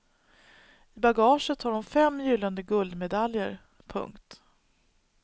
I bagaget har hon fem gyllene guldmedaljer. punkt